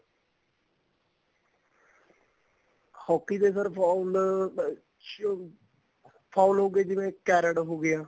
hockey ਦੇ sir foul ਚ foul ਹੋ ਗਏ ਜਿਵੇਂ cared ਹੋ ਗਿਆ